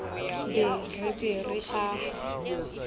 be re be re aha